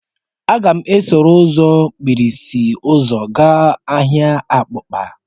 M ga-esoro m ụzọ mkpirisi ụzọ gaa ahịa abakpa